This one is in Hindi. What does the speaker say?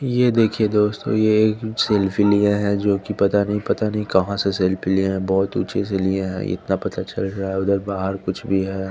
ये देखिये दोस्तों ये एक सेल्फी लिए हैं जोकि पता नहीं पता नहीं कहाँ से सेल्फी लिए हैं बहुत ऊंचे से लिए हैं इतना पता चल रहा है उधर बाहर कुछ भी है।